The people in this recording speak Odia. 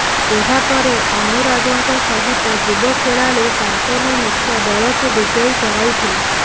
ଏହାପରେ ଅନୁରାଗଙ୍କ ସହିତ ଯୁବ ଖେଳାଳି ଶାନ୍ତନୁ ମିଶ୍ର ଦଳକୁ ବିଜୟୀ କରାଇଥିଲେ